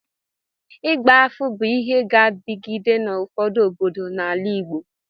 Ịgba afa bụ ịhe ga na-adịgide n'ụfọdụ obodo n'ala Igbo